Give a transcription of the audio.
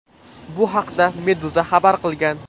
Bu haqda Meduza xabar qilgan .